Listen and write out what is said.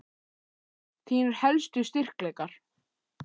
Þínir helstu styrkleikar?